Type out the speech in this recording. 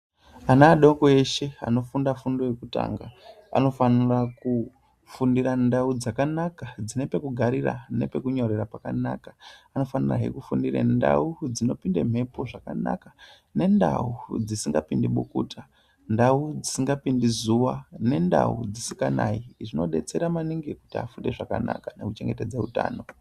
Ana adoko eshe anofunda fundo yekutanga anofanira kufundira ndau dzakanaka dzine pekugarira nepekunyorera pakanaka vanofanirahe kufundire ndau dzinopinde mhepo zvakanaka nendau dzisingapindi bukuta ndau dzisingapindi zuva nendau dzisikanayi zvinodetsera maningi kuti vafunde zvakanaka nekuchengetedze utano .